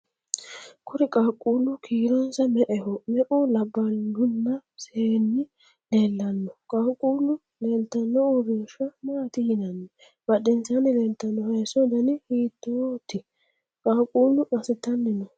Kuri qaaqquullu kiironsa me'eho? me'u labballunna seenni leellanno? Qaaqquullu leeltanno uurinsha maati yinanni? Badhensaanni leeltanno hayso dana hitooti? Qaaqquullu massitanni no?